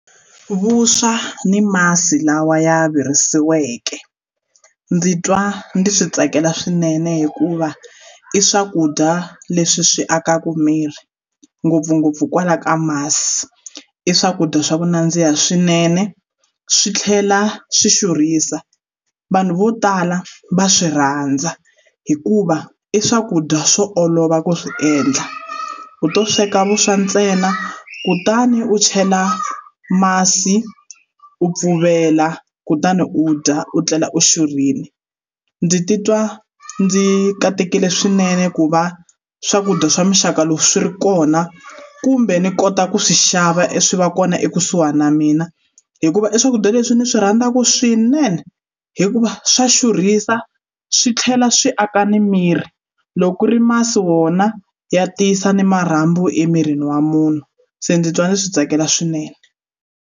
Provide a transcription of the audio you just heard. Vuswa ni masi lawa ya virisiweke ndzi twa ndzi swi tsakela swinene hikuva i swakudya leswi swi akaka miri ngopfungopfu kwala ka masi i swakudya swa ku nandziha swinene swi tlhela swi xurhisa vanhu vo tala va swi rhandza hikuva i swakudya swo olova ku swi endla u to sweka vuswa ntsena kutani u chela masi u pfuvela kutani u dya u tlela u xurhile ndzi titwa ndzi katekile swinene ku va swakudya swa muxaka loko swi ri kona kumbe ni kota ku swi xava e swi va kona ekusuhana na mina hikuva i swakudya leswi ndzi swi rhandzaka swinene hikuva swa xurhisa swi tlhela swi aka ni miri loko ku ri masi wona ya tiyisa ni marhambu emirini wa munhu se ndzi twa ndzi swi tsakela swinene.